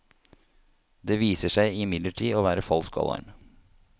Det viser seg imidlertid å være falsk alarm.